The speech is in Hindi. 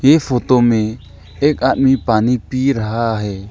ये फोटो में एक आदमी पानी पी रहा है।